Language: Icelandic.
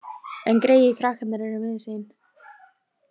En greyið krakkarnir eru miður sín.